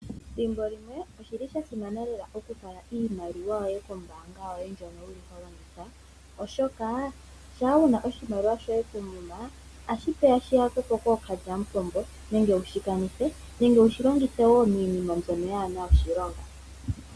Ethimbolimwe oshili sha simana lela oku tula iimaliwa kombaanga oshoka shampa wuna oshimaliwa shoye koomuma otashi vulu shi yakwepo kookalyamupombo nenge wushi kanithe nenge wushi longithe iinima mbyon kayina oshilonga.